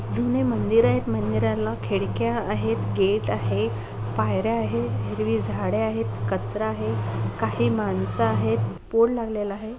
जून मंदिर आहेत मंदिराला खिडक्या आहेत गेट आहे पायऱ्या आहेत हिरवी झाडे आहेत कचरा आहे काही मानस आहेत पोड लगलेला आहे.